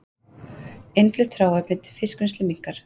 Innflutt hráefni til fiskvinnslu minnkar